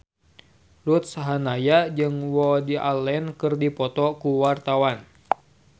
Ruth Sahanaya jeung Woody Allen keur dipoto ku wartawan